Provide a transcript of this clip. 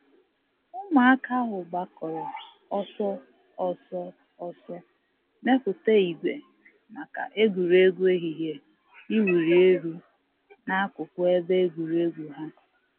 Ụmụaka ahụ gbakọrọ ọsọ ọsọ ọsọ ọsọ mepụta ìgwè maka egwuregwu ehihie iwuli elu n'akụkụ ebe egwuregwu ha.